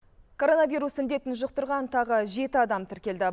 коронавирус індетін жұқтырған тағы жеті адам тіркелді